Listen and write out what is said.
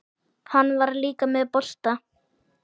Hann var líka með bolta.